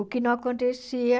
O que não acontecia...